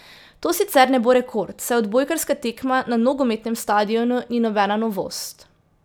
To sicer ne bo rekord, saj odbojkarska tekma na nogometnem stadionu ni nobena novost.